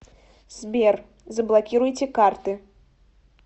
сбер заблокируйте карты